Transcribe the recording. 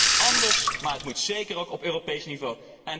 Het moet anders, maar het moet zeker ook op Europees niveau.